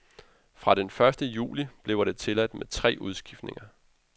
Fra første juli bliver det tilladt med tre udskiftninger.